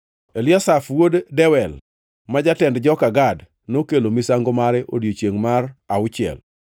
Eliasaf wuod Dewel, ma jatend joka Gad nokelo misango mare e odiechiengʼ mar auchiel.